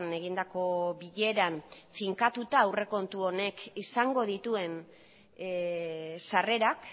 egindako bileran finkatuta aurrekontu honek izango dituen sarrerak